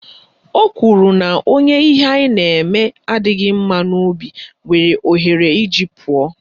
O kwuru na onye ihe anyị na-eme adịghị mma n'obi nwere ohere iji pụọ